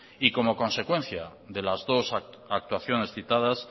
como consecuencia de las dos actuaciones citadas